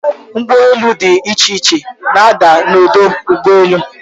Ụgbọelu dị iche iche na-ada n'ọdọ ụgbọelu.